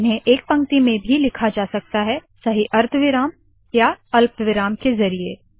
इन्हें एक पंक्ति में भी लिखा जा सकता है सही अर्धविराम और अल्पविराम के ज़रिये